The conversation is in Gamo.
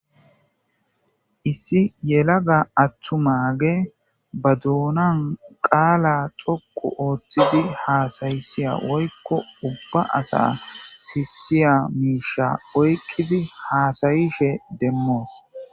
issi yelaga attumage ba duunan qaala xoqu ooththidi haasayisiya woykko ubba asa sisiya miisha oykkidi haasayishe demmoos